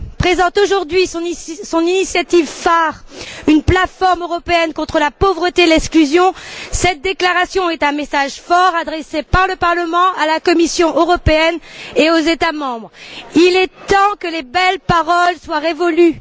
présente aujourd'hui son initiative phare, une plateforme européenne contre la pauvreté et l'exclusion, cette déclaration est un message fort adressé par le Parlement à la Commission européenne et aux États membres. Le temps des belles paroles est révolu.